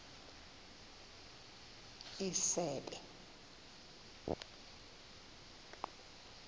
isebe